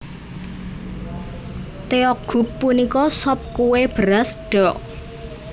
Tteokguk punika sop kué beras ddeok